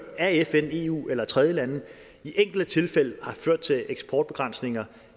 af fn eu eller tredjelande i enkelte tilfælde har ført til eksportbegrænsninger